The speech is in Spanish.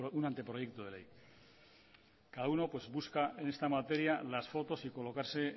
un anteproyecto de ley cada uno pues busca en esta materia las fotos y colocarse